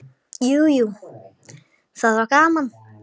Jú, jú, það var gaman.